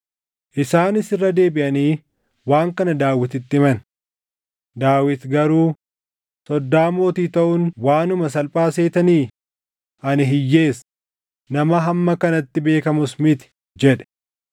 Isaanis irra deebiʼanii waan kana Daawititti himan; Daawit garuu, “Soddaa mootii taʼuun waanuma salphaa seetanii? Ani hiyyeessa; nama hamma kanatti beekamus miti” jedhe.